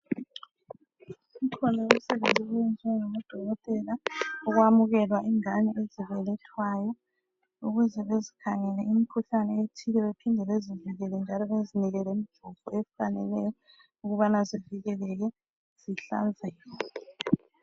Umthwalo womsebenzi owenziwa ngodokotela ukwamukela ingane ezibelethwayo ukuze bezikhangele imikhuhlane ethile bephinde bezivikele njalo bezinike lomjovo owufaneleyo ukubana zivikelele zihlanzeke.